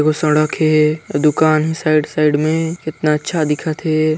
वो सड़क हे दुकान हे साइड साइड में कितना अच्छा दिखत हे।